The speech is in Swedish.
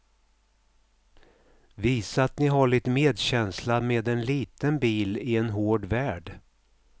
Visa att ni har lite medkänsla med en liten bil i en hård värld.